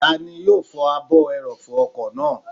Tani yóò fọ ààbò ẹrọ̀fọ̀ ọkọ̀ náà?